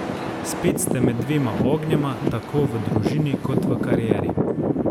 Spet ste med dvema ognjema, tako v družini kot v karieri.